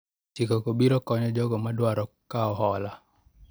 chike go biro konyo jogo ma dwaro kawo hola